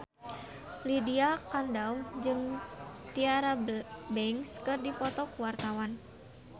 Lydia Kandou jeung Tyra Banks keur dipoto ku wartawan